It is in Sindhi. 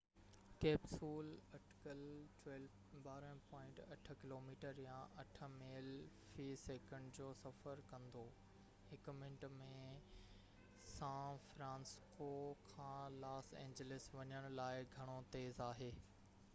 ڪيپسول اٽڪل 12.8 ڪلوميٽر يا 8 ميل في سيڪنڊ جو سفر ڪندو هڪ منٽ ۾ سان فرانسسڪو کان لاس اينجلس وڃڻ لاءِ گهڻو تيز آهي